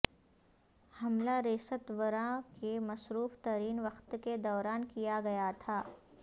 حملہ ریستوراں کےمصروف ترین وقت کے دوران کیا گیا تھا